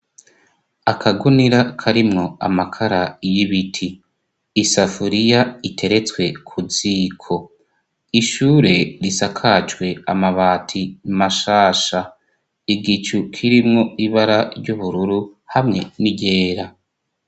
Akagunira karimwo amakara y'ibiti. Isafuriya iteretswe ku ziko. Ishure risakajwe amabati mashasha. Igicu kirimwo ibara ry'ubururu hamwe n'iryera.